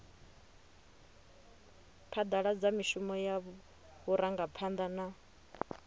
phadaladza mishumo ya vhurangaphanda na